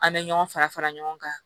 An bɛ ɲɔgɔn fara fara ɲɔgɔn kan